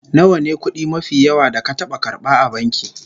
Nawa ne kudi mafi yawa da ka taba karba a banki?